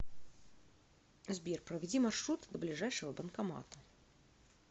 сбер проведи маршрут до ближайшего банкомата